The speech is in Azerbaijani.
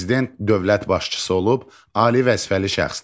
Prezident dövlət başçısı olub, ali vəzifəli şəxsdir.